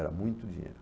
Era muito dinheiro.